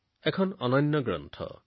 এইখন এখন অনন্য গ্ৰন্থ